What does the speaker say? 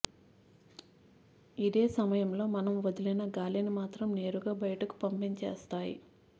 ఇదే సమయంలో మనం వదిలిన గాలిని మాత్రం నేరుగా బయటకు పంపించేస్తాయి